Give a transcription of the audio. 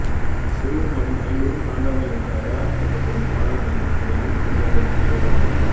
சிவ பெருமானின் ஐம்பெரும் தாண்டவங்கள் என்று அடையாளம் காட்டப்படும் ஆலயங்களும் அவை இருக்கும் இடங்களும் இவைதான்